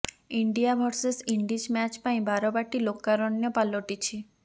India versus Indies match ପାଇଁ ବାରବାଟୀ ଲୋକାରଣ୍ୟ ପାଲଟିଛି